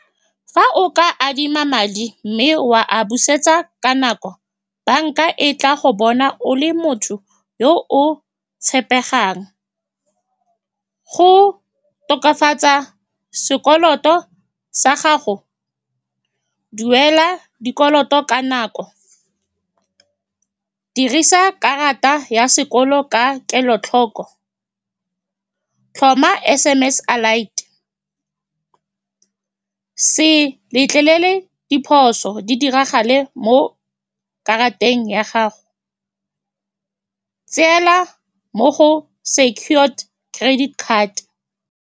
Fa o ka adima madi, mme wa a busetsa ka nako, banka e tla go bona o le motho yo o tshepegang. Go tokafatsa sekoloto sa gago, duela dikoloto ka nako, dirisa karata ya sekolo ka kelotlhoko, tlhoma S_M_S alight, se letlelele diphoso di diragale mo karateng ya gago. Tsena mo go secured credit card.